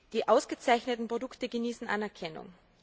Die ausgezeichneten Produkte genießen Anerkennung.